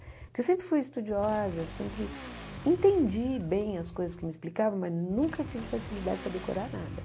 Porque eu sempre fui estudiosa, sempre entendi bem as coisas que me explicavam, mas nunca tive facilidade para decorar nada.